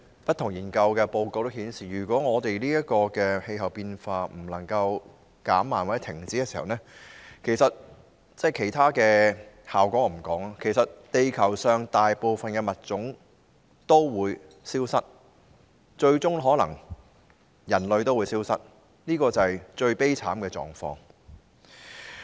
不同研究報告均顯示，如果我們的氣候變化無法減慢或停止，其他的後果我先不談，其實地球上大部分物種也會消失，最終可能連人類也會消失，這是最悲慘的狀況。